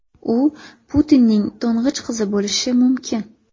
U Putinning to‘ng‘ich qizi bo‘lishi mumkin .